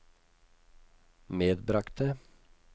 medbragte